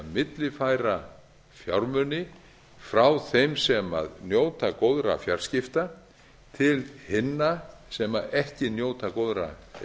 millifæra fjármuni frá þeim sem njóta góðra fjarskipta til hinna sem ekki njóta góðra